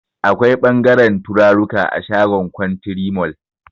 Akwai ɓangaren turaruka a shagon kwantiri mol